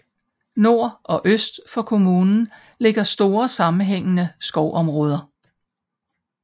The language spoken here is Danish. Nord og øst for kommunen ligger store sammenhængende skovområder